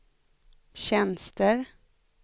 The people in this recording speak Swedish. tjänster